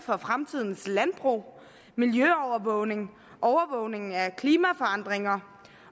fremtidens landbrug miljøovervågning overvågning af klimaforandringer